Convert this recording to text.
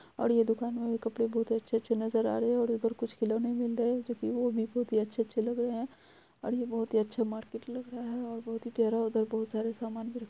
और ये दुकान है कपड़े बहुत ही अच्छे-अछे नजर आ रहे हैइधर कुछ खिलौने मिल रहे है जो वो बहुत ही अच्छे-अच्छे लग रहे है। और ये बहुत अच्छे मार्केट लग रहा है और बहुत ही प्यारा सामान मिल--